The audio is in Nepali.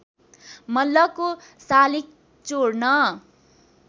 मल्लको शालिक चोर्न